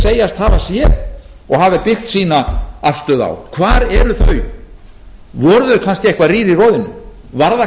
segjast hafa séð og hafi byggt sína afstöðu á hvar eru þau voru þau kannski eitthvað rýr í roðinu var það